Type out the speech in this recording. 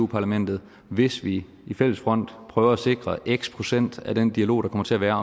parlamentet hvis vi i fælles front prøver at sikre x procent af den dialog der kommer til at være